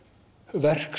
verk